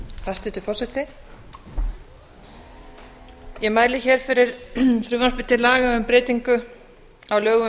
hæstvirtur forseti ég mæli fyrir frumvarpi til laga um breytingu á lögum um